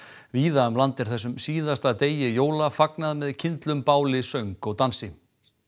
víða um land er þessum síðasta degi jóla fagnað með kyndlum báli söng og dansi